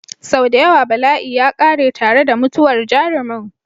Sau da yawa bala'i ya ƙare tare da mutuwar jarumin.